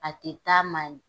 A tɛ taa man